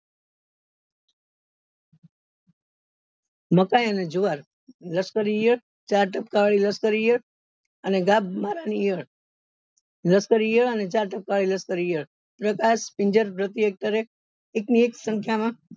મકાઈ અને જુવાર ઈયળ અને ચાર ટપકા વાળી ઈયળ અને વાળા ની ઈયળ પ્રકાશ એક ની એક સંખ્યા માં